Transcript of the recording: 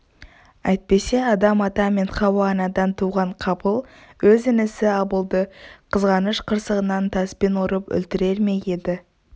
әйтпесе адам-ата мен хауа-анадан туған қабыл өзі інісі абылды қызғаныш қырсығынан таспен ұрып өлтірер ме еді